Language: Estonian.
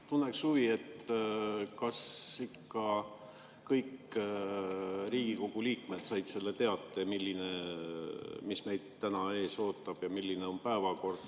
Tunnen huvi, kas ikka kõik Riigikogu liikmed said selle teate, mis meid täna ees ootab ja milline on päevakord.